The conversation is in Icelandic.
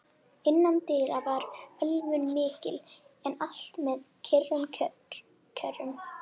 Innandyra var ölvun mikil, en allt með kyrrum kjörum.